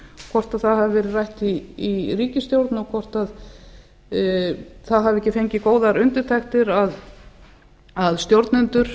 hvort það hafi verið rætt í ríkisstjórn og hvort það hafi ekki fengið góðar undirtektir að stjórnendur